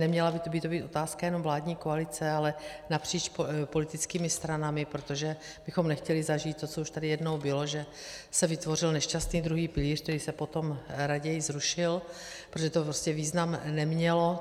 Neměla by to být otázka jenom vládní koalice, ale napříč politickými stranami, protože bychom nechtěli zažít to, co už tady jednou bylo, že se vytvořil nešťastný druhý pilíř, který se potom raději zrušil, protože to prostě význam nemělo.